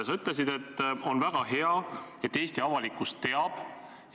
Sa ütlesid, et on väga hea, et Eesti avalikkus teab.